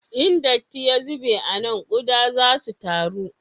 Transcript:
In datti ya zube a nan, kuɗa za su taru